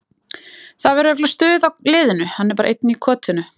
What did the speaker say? Það verður örugglega stuð á liðinu, hann er bara einn í kotinu.